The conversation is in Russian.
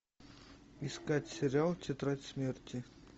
искать сериал тетрадь смерти